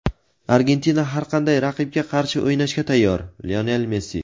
Argentina har qanday raqibga qarshi o‘ynashga tayyor – Lionel Messi.